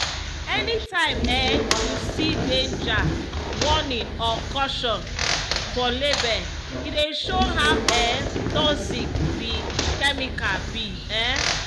anytime um you see “danger” “warning” or “caution” for label e dey show how um toxic the chemical be. um